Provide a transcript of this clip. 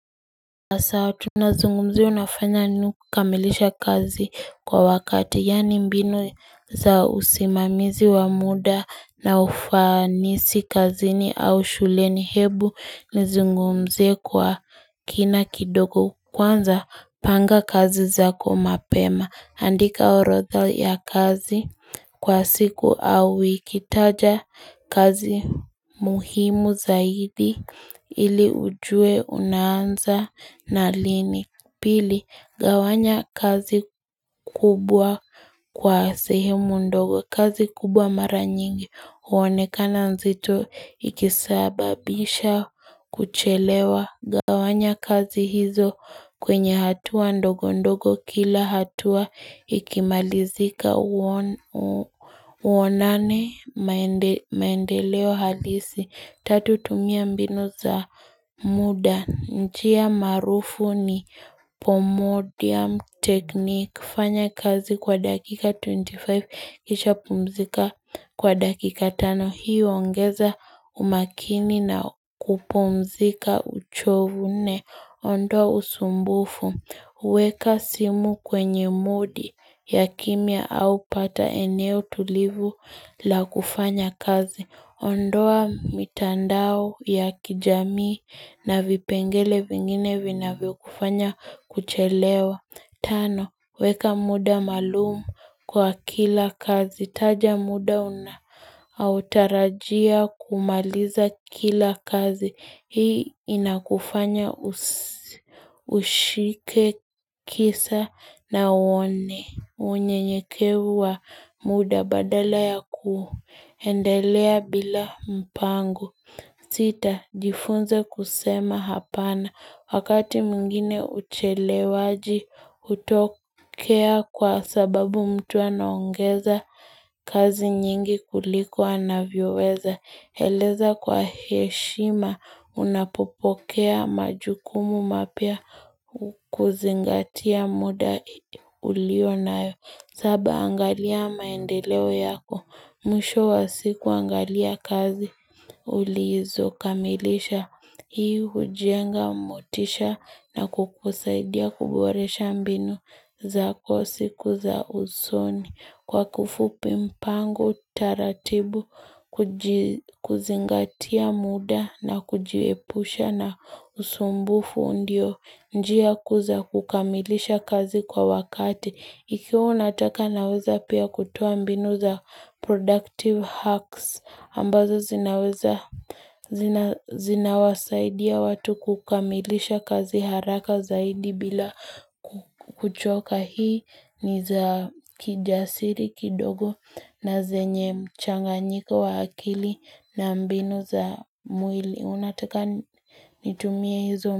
Sawa tunazungumzia unafanya nini kukamilisha kazi kwa wakati yani mbinu za usimamizi wa muda na ufanisi kazini au shuleni hebu nizungumzie kwa kina kidogo Kwanza panga kazi zako mapema andika orotha ya kazi Kwa siku au ikitaja kazi muhimu zaidi ili ujue unanza na lini Pili gawanya kazi kubwa kwa sehemu ndogo kazi kubwa mara nyingi huonekana nzito ikisababisha kuchelewa Gawanya kazi hizo kwenye hatua ndogo ndogo kila hatua ikimalizika uonane maendeleo halisi tatu tumia mbinu za muda njia marufu ni pomodium technique kifanya kazi kwa dakika 25 kisha pumzika kwa dakika 5 hiyo huongeza umakini na kupumzika uchovu nne Ondoa usumbufu. Weka simu kwenye modi ya kimia au pata eneo tulivu la kufanya kazi. Ondoa mitandao ya kijami na vipengele vingine vina vyo kufanya kuchelewa. Tano, weka muda malumu kwa kila kazi. Taja muda unaotarajia kumaliza kila kazi. Hii inakufanya ushike kisa na uone. Unyenyekevu wa muda badala ya kuendelea bila mpango. Sita, jifunze kusema hapana. Wakati mwingine uchelewaji hutokea kwa sababu mtu anaongeza kazi nyingi kuliko ana vioweza. Eleza kwa heshima unapopokea majukumu mapya kuzingatia muda ulio nayo. Saba angalia maendeleo yako, mwisho wa siku angalia kazi, ulizo kamilisha, hii hujenga mutisha na kukusaidia kuboresha mbinu za kwa siku za usoni, kwa kifupi mpango, taratibu, kuzingatia muda na kujiepusha na usumbufu ndio. Njia kuu za kukamilisha kazi kwa wakati. Ikwa unataka naweza pia kutoambinu za productive hacks. Ambazo zinaweza zinawasaidia watu kukamilisha kazi haraka zaidi bila kuchoka hii. Niza kijasiri kidogo na zenye mchanganyiko wa akili na mbinu za mwili. Unataka nitumie hizo.